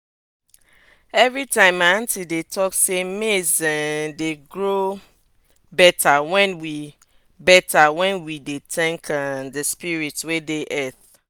everytime my aunty dey talk sey maize dey um grow better wen we better wen we dey thank um de spirits wey dey earth